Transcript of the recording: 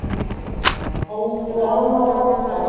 Elsku amma Bogga.